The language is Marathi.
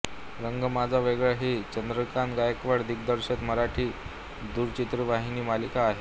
रंग माझा वेगळा ही चंद्रकांत गायकवाड दिग्दर्शित मराठी दूरचित्रवाणी मालिका आहे